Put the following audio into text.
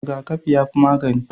Rigakafi yafi magani